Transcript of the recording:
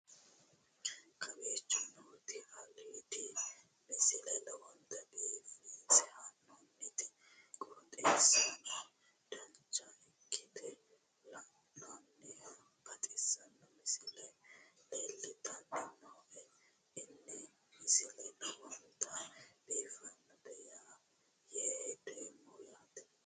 kowicho nooti aliidi misile lowonta biifinse haa'noonniti qooxeessano dancha ikkite la'annohano baxissanno misile leeltanni nooe ini misile lowonta biifffinnote yee hedeemmo yaate